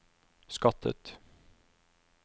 skattet